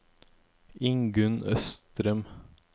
Ingunn Østrem